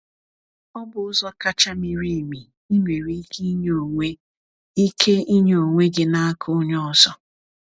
Ọ bụ ụzọ kacha miri emi ị nwere ike inye onwe ike inye onwe gị n’aka onye ọzọ.